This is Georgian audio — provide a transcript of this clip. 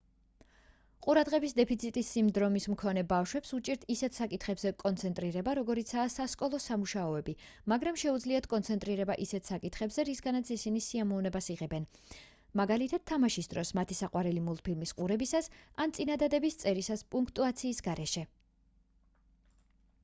ყურადღების დეფიციტის სინდრომის მქონე ბავშვებს უჭირთ ისეთ საკითხებზე კონცენტრირება როგორიცაა სასკოლო სამუშაოები მაგრამ შეუძლიათ კონცენტრირება ისეთ საკითხებზე რისგანაც ისინი სიამოვნებას იღებენ მაგალითად თამაშის დროს მათი საყვარელი მულტფილმის ყურებისას ან წინადადების წერისას პუნქტუაციის გარეშე